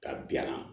Ka bila